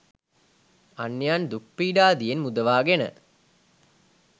අන්‍යයන් දුක් පීඩාදියෙන් මුදවා ගෙන